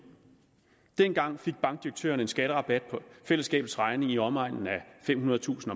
dengang fik bankdirektørerne en skatterabat på fællesskabets regning i omegnen af femhundredetusind